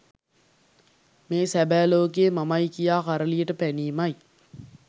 මේ සැබෑ ලෝකයේ මමයි කියා කරලියට පැනීමයි.